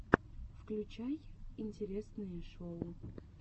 включай интересные шоу